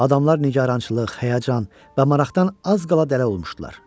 Adamlar nigarançılıq, həyəcan və maraqdan az qala dələ olmuşdular.